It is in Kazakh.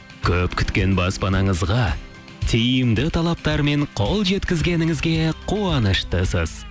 көп күткен баспанаңызға тиімді талаптар мен қол жеткізгеніңізге қуаныштысыз